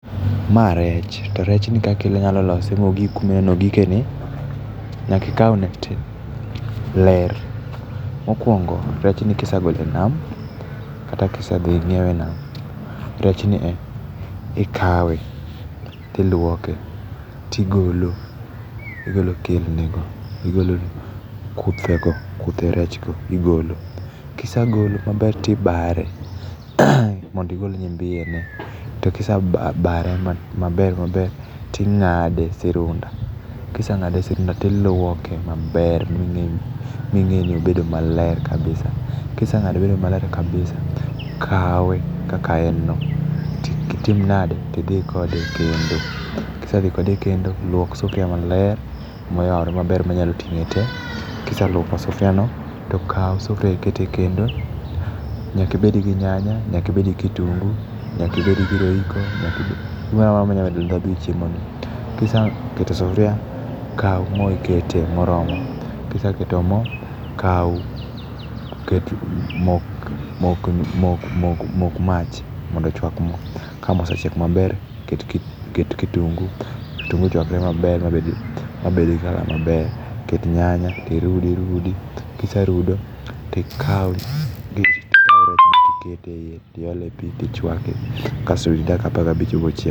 Ma rech. To rechni kaka i yalo sose mogik kuma ne ogike ni. Nyaka ikawne ler. Mokwongo, rechni kisegole e nam kata kisedhi inyiewe e nam, rechni ikawe, tilwoke, tigolo kidhnigo, igolo kuthego, kuthe rechgo, igolo. Kisegolo maber, tibare mondo igol nyimbiyene. To kisebare maber maber, ting'ade sirunda. Kiseng'ade sirunda tilwoke maber ming'e ni obedo maler kabisa. Kiseng'ado mobedo maler kabisa, kawe kaka en no, titim nadi, tidhi kode e kendo. Kisedhi kode e kendo, lwok sufria maler, moyawre maber manyalo ting'e te, kiselwoko sufriano, tokaw sufria ikete e kendo. Nyaka ibed gi nyanya, nyaka ibed gi kitungu, nyaka ibed gi roiko, gimoro amora manyalo medo ndhandhu e chiemoni. Kiseketo sufria, kaw mo ikete moromo. Kiseketo mo, mok mach mondo ochwak mo. Ka mo osechiek maber, ket kitungi, ka kitungu ochwakre maber mabed gi colour maber, ket nyanya tirudi irudi. Kiserudo tikaw rechno tikete ei tiole pi tichwake, kasto rit dakika apaga bich bochiegi.